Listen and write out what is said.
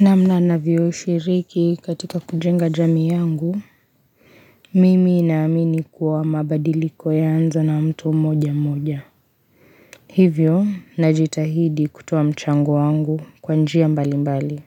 Namna navyo shiriki katika kujenga jamii yangu Mimi naamini kuwa mabadiliko yaanza na mtu moja moja Hivyo najitahidi kutoa mchango wangu kwa njia mbali mbali